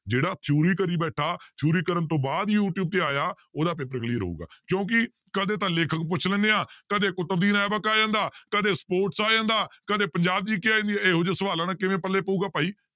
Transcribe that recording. ਜਿਹੜੀ theory ਕਰੀ ਬੈਠਾ theory ਕਰਨ ਤੋਂ ਬਾਅਦ ਯੂ ਟਿਊਬ ਤੇ ਆਇਆ ਉਹਦਾ paper clear ਹੋਊਗਾ ਕਿਉਂਕਿ ਕਦੇ ਤਾਂ ਲੇਖਕ ਪੁੱਛ ਲੈਂਦੇ ਹਾਂ ਕਦੇ ਕੁਤਬਦੀਨ ਐਬਕ ਆ ਜਾਂਦਾ ਕਦੇ sports ਆ ਜਾਂਦਾ ਕਦੇ ਪੰਜਾਬ GK ਆ ਜਾਂਦੀ ਹੈ ਇਹੋ ਜਿਹੇ ਸਵਾਲਾਂ ਦਾ ਕਿਵੇਂ ਪੱਲੇ ਪਊਗਾ ਭਾਈ।